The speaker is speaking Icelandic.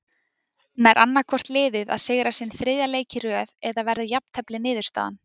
Nær annaðhvort liðið að sigra sinn þriðja leik í röð eða verður jafntefli niðurstaðan.